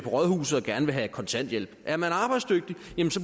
rådhuset og gerne vil have kontanthjælp er man arbejdsdygtig